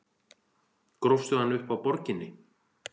Grófstu hann upp á Borginni?